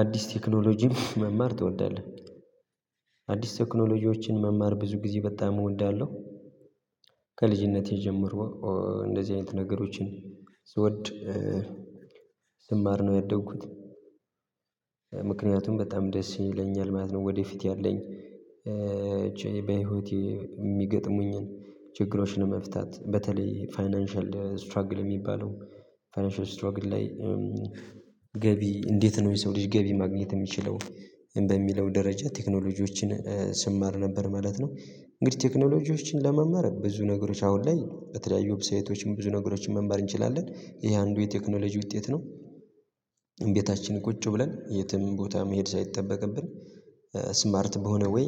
አዲስ ቴክኖሎጂ መማር ትወዳለህ? አዲስ ቴክኖሎጂዎችን መማር ብዙ ጊዜ በጣም እወዳለሁ። ከልጅነቴ ጀምሮ እንደዚህ አይነት ነገሮችን ስወድ ስማር ነው ያደግኩት። ምክንያቱም በጣም ደስ ይለኛል ማለት ነው። ወደፊት ያለኝ ቼይ በህይወቴ የሚገጥሙኝን ችግሮችን መፍታት በተለይ ፋይናንሻል ስትራግል የሚባለው ፋይናንሻል ስትራግል ላይ። ገቢ እንዴት ነው የሰው ልጅ ገቢ ማግኘት የሚችለው በሚለው ደረጃ ቴክኖሎጂዎችን ስማር ነበር ማለት ነው። እንግዲህ ቴክኖሎጂዎችን ለመማር ብዙ ነገሮች አሁን ላይ በተለያዩ ዌብሳይቶችም ብዙ ነገሮችን መማር እንችላለን ይሄ አንዱ የቴክኖሎጂ ውጤት ነው። ቤታችን ቁጭ ብለን የትም ቦታ መሄድ ሳይጠበቅብን ስማርት በሆነ ወይ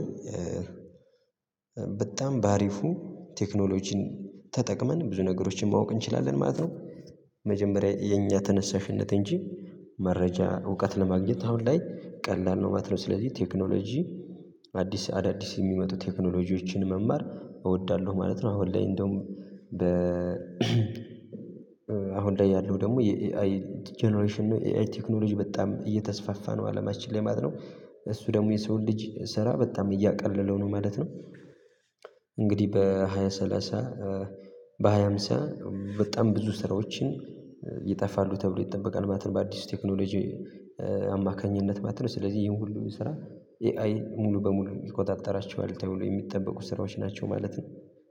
በጣም በአሪፉ ቴክኖሎጂን ተጠቅመን ብዙ ነገሮችን ማወቅ እንችላለን ማለት ነው። መጀመሪያ የኛ ተነሳሽነት እንጂ መረጃ እውቀት ለማግኘት አሁን ላይ ቀላል ነው ማለት ነው። ስለዚህ ቴክኖሎጂ አዳዲስ የሚመጡ ቴክኖሎጂዎችን መማር እወዳለሁ ማለት ነው። አሁን ላይ እንደውም አሁን ላይ ያለው ደግሞ የኤአይ ጀነሬሽን ነው ኤአይ ቴክኖሎጂ በጣም እየተስፋፋ ነው። አለማችን ላይ ማለት ነው እሱ ደግሞ የሰው ልጅ ስራ በጣም እያቀለለው ነው ማለት ነው። እንግዲህ በሃያ ሰላሳ በሃያ ሃምሳ በጣም ብዙ ስራዎችን ይጠፋሉ ተብሎ ይጠበቃል ማለት ነው። በአዲሱ ቴክኖሎጂ አማካኝነት ማለት ነው። ስለዚህ ይሄን ሁሉ ስራ ኤአይ ሙሉ በሙሉ ይቆጣጠራቸዋል ተብሎ የሚጠበቁ ስራዎች ናቸው ማለት ነው